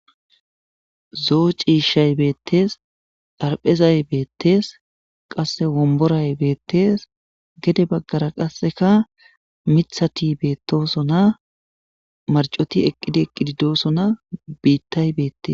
zoo ciishshay beettees arphezay beettees qasse womboray beettees gede baggara qasseka mithati beettosona marcoti eqqidi eqqidi doosona biittay beettes